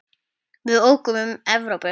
Við ókum um Evrópu.